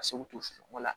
Ka se k'u to susu ko la